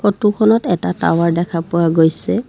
ফটোখনত এটা টাৱাৰ দেখা পোৱা গৈছে।